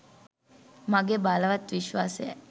මගේ බලවත් විශ්වාසයයි.